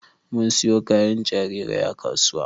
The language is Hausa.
Mun siyo kayan jarirai a kasuwa